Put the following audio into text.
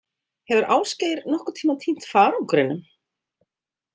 Hefur Ásgeir nokkurn tímann týnt farangrinum?